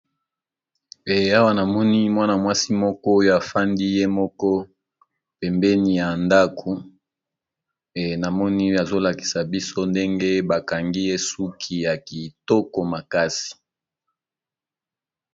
Awa namoni mwana-mwasi moko oyo afandi ye moko pembeni ya ndako. Namoni azolakisa biso ndenge bakangi esuki ya kitoko makasi.